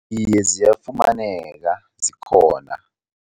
Iye, ziyafumaneka, zikhona.